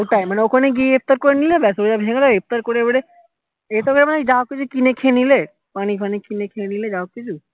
হ্যা ওটাই মানে ওখানে গিয়ে ইফতার করে নিলে ব্যাস রোজা ভেঙে গেলো এবারে ইফতার করে এরপর তুমি যা হোক কিনে খেয়ে নিলে পানি ফানি কিনে খেয়ে নিলে যা